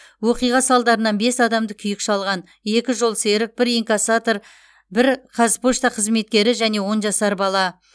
оқиға салдарынан бес адамды күйік шалған екі жолсерік бір инкассатор бір қазпошта қызметкері және он жасар бала